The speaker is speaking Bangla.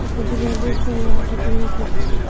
কিছু মানুষ বাইরে হাঁটাচলা করছে।